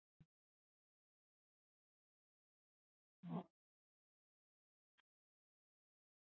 Hverjir verða í toppbaráttu og hverjir við það að falla?